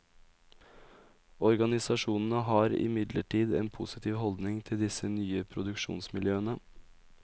Organisasjonene har imidlertid en positiv holdning til disse nye produksjonsmiljøene.